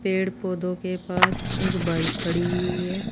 पेड़ पौधों के पास एक बाइक खड़ी हुई हुई है।